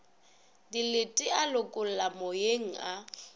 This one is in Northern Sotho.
dilete a lokologa moyeng a